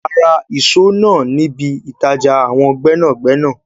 A Ra ìṣó náà níbi ìtàjà àwọn gbẹ́nàgbẹ́nà